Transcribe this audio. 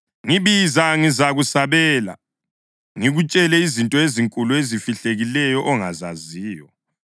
‘Ngibiza ngizakusabela, ngikutshele izinto ezinkulu ezifihlakeleyo ongazaziyo.’